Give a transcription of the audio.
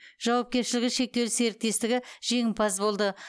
жауапкершілігі шектеулі серіктестігі жеңімпаз болды